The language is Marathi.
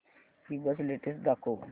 ईबझ लेटेस्ट दाखव